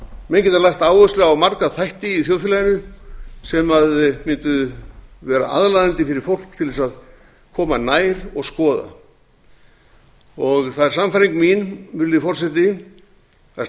menn geta lagt áherslu á marga þætti í þjóðfélaginu sem mundu vera aðlaðandi fyrir fólk til þess að koma nær og skoða það er sannfæring mín virðulegi forseti að